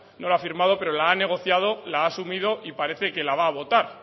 no la ha firmado pero la ha negociado la ha asumido y parece que la va a votar